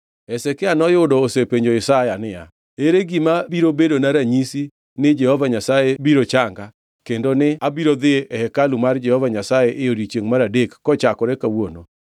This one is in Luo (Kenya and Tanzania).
Hezekia noyudo osepenjo Isaya niya, “Ere gima biro bedona ranyisi ni Jehova Nyasaye biro changa kendo ni abiro dhi e hekalu mar Jehova Nyasaye e odiechiengʼ mar adek kochakore kawuono?”